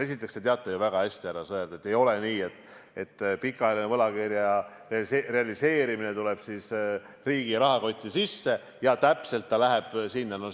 Esiteks, te teate väga hästi, härra Sõerd, et ei ole nii, et pikaajaline võlakirja realiseerimine tuleb riigi rahakotti sisse, et täpselt sinna see läheb.